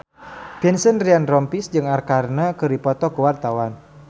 Vincent Ryan Rompies jeung Arkarna keur dipoto ku wartawan